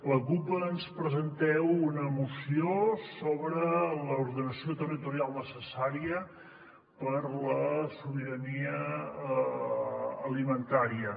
la cup ens presenteu una moció sobre l’ordenació territorial necessària per a la sobirania alimentària